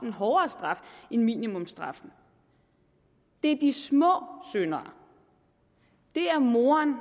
en hårdere straf end minimumsstraffen det er de små syndere det er moren